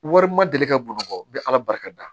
Wari ma deli ka bamakɔ n be ala barika da